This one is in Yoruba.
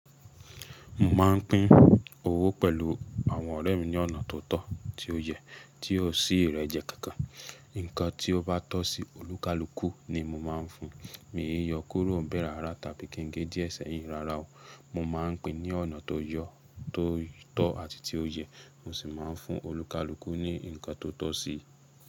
Mo máa ń pín owó pẹ̀lú àwọn ọ̀rẹ́ mi ní ọ̀nà tó tọ́, tí ó yẹ, tí ó sí ìrẹ́jẹ kankan. Nǹkan tí ó bá tọ́ sí olúkálukú ni mo má a ń fun. Mi ìí yọ kúrò ńbẹ̀ rárá tàbí kí n gé díẹ̀ sẹ́yìn rárá o. Mo má a ń pín ní ọ̀nà tó yọ́, tó tọ́ àti tí ó yẹ. Mo sì má a ń fún olúkalukú ní ǹkan tó tọ́ si.